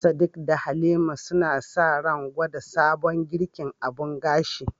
Sadiq da Halima suna sa ran gwada sabon girkin abun gashi